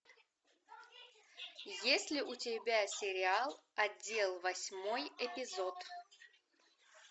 есть ли у тебя сериал отдел восьмой эпизод